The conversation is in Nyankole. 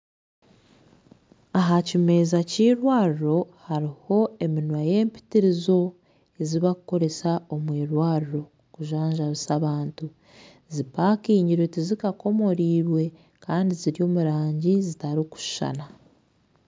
Ahakimeza ky'irwaro haruho eminwa y'empitirizo ezibakoresa omwirwaro kujanjabisa abantu zipakingirwe tizikakomorirwe Kandi ziri omurangi zitarukushana